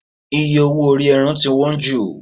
iye owó ori eran ti wan ju